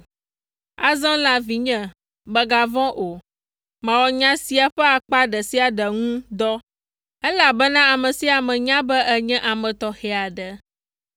Azɔ la, vinye, megavɔ̃ o. Mawɔ nya sia ƒe akpa ɖe sia ɖe ŋu dɔ, elabena ame sia ame nya be ènye ame tɔxɛ aɖe.